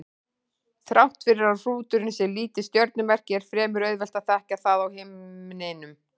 Þrátt fyrir að hrúturinn sé lítið stjörnumerki er fremur auðvelt að þekkja það á himninum.